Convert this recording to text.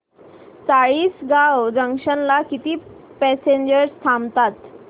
Chalisgaon junction ला किती passengers थांबतात